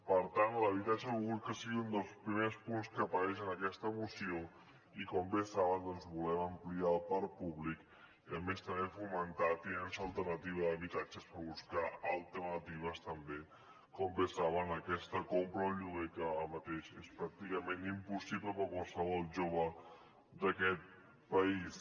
per tant l’habitatge hem volgut que sigui un dels primers punts que apareix en aquesta moció i com bé saben doncs volem ampliar el parc públic i a més també fomentar la tinença alternativa d’habitatges per buscar alternatives també a aquesta compra o lloguer que ara mateix és pràcticament impossible per a qualsevol jove d’aquest país